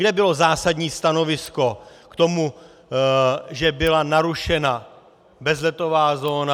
Kde bylo zásadní stanovisko k tomu, že byla narušena bezletová zóna?